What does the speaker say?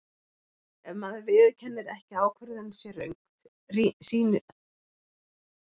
Ef maður viðurkennir ekki að ákvörðun sé röng, sýnist hún kannski rétt í fyllingu tímans.